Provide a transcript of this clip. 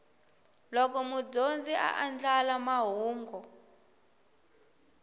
loko mudyondzi a andlala mahungu